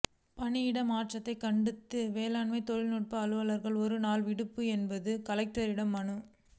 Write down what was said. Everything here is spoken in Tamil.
பணியிட மாற்றத்தை கண்டித்து வேளாண் தொழில்நுட்ப அலுவலர்கள் ஒரு நாள் விடுப்பு எடுத்து கலெக்டரிடம் மனு